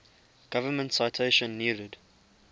government citation needed